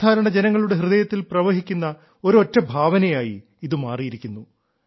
സാധാരണ ജനങ്ങളുടെ ഹൃദയത്തിൽ പ്രവഹിക്കുന്ന ഒരൊറ്റ ഭാവനയായി ഇത് മാറിയിരിക്കുന്നു